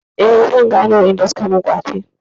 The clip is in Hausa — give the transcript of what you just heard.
Eh, zan gane waɗanda suka min ƙwace.